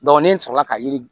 ne sɔrɔla ka yiri